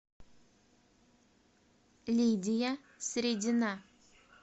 лидия средина